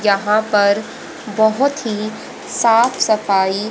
यहां पर बहोत ही साफ सफाई--